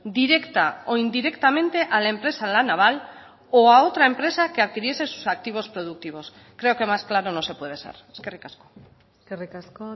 directa o indirectamente a la empresa la naval o a otra empresa que adquiriese sus activos productivos creo que más claro no se puede ser eskerrik asko eskerrik asko